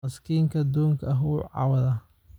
Miskiinka doonka ah wuu cawdaa